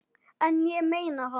En ég meina það.